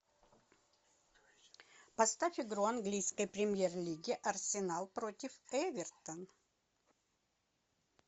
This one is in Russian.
поставь игру английской премьер лиги арсенал против эвертон